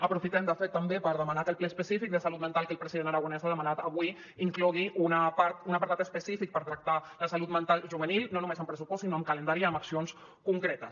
aprofitem de fet també per demanar que el ple específic de salut mental que el president aragonès ha demanat avui inclogui un apartat específic per tractar la salut mental juvenil no només amb pressupost sinó amb calendari i amb accions concretes